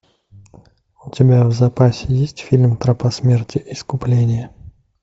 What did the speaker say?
у тебя в запасе есть фильм тропа смерти искупление